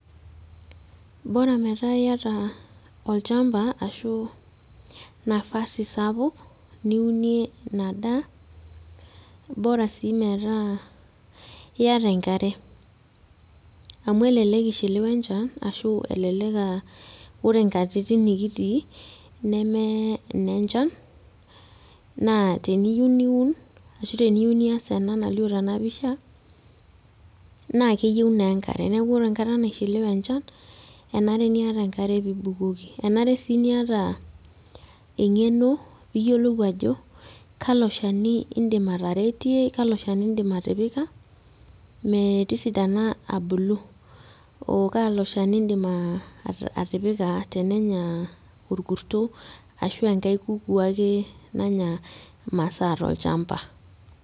Bora metaa yata olchamba ashu nafasi sapuk, niunie inadaa, bora si metaa iyata enkare. Amu elelek ishiliwa enchan ashu elelek ah ore nkatitin nikitii, neme nenchan, naa teniyieu niun, ashu teniyieu nias ena nalio tenapisha, na keyieu naa enkare. Neeku ore enkata naishiliwe enchan, kenare niata enkare pibukoki. Enare si niata eng'eno piyiolou ajo kalo shani idim ataretie, kalo shani idim atipika, metisidana abulu. Oh kalo shani idim atipika tenenya orkusto, ashu enkae kukuu ake nanya masaa tolchamba.